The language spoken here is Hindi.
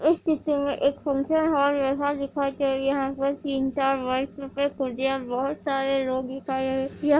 एक सेंट्रल हॉल जैसा दिखाई दे रहा है जिसमे तीन चार वाइट कलर की कुर्सियां बहुत सारे लोग दिखाई दे रहे है।